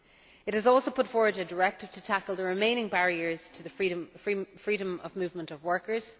It has also put forward a directive to tackle the remaining barriers to the freedom of movement of workers.